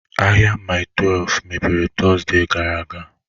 Ahịa Mile 12 mepere Tọzdee gara aga?